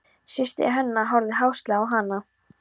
Systir hennar horfði háðslega á hana.